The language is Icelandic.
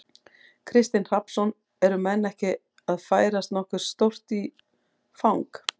Kristinn Hrafnsson: Eru menn ekki að færast nokkuð stórt í, í fang?